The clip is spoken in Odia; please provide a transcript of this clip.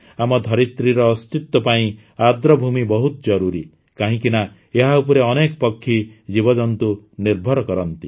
ଆମ ଧରିତ୍ରୀର ଅସ୍ତିତ୍ୱ ପାଇଁ ଆର୍ଦ୍ରଭୂମି ବହୁତ ଜରୁରୀ କାହିଁକିନା ଏହା ଉପରେ ଅନେକ ପକ୍ଷୀ ଜୀବଜନ୍ତୁ ନିର୍ଭର କରନ୍ତି